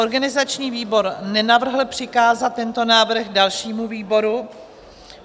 Organizační výbor nenavrhl přikázat tento návrh dalšímu výboru.